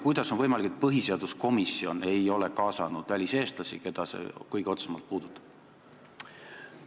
Kuidas on võimalik, et põhiseaduskomisjon ei ole kaasanud väliseestlasi, keda see probleem kõige otsesemalt puudutab?